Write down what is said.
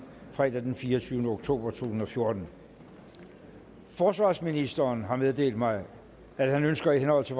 fredag den fireogtyvende oktober to tusind og fjorten forsvarsministeren har meddelt mig at han ønsker i henhold til